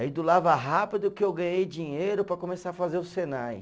Aí do Lava Rápido que eu ganhei dinheiro para começar a fazer o Senai.